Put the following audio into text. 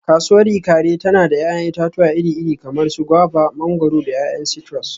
Kasuwar Ikaare tana da 'ya'yan itatuwa iri-iri kamar su guavas, mangwaro, da 'ya'yan citrus.